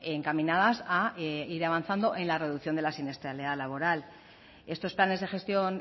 encaminadas a ir avanzando en la reducción de la siniestralidad laboral estos planes de gestión